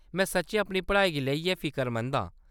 में सच्चें अपनी पढ़ाई गी लेइयै फिकरमंद आं।